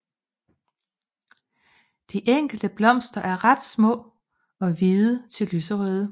De enkelte blomster er ret små og hvide til lyserøde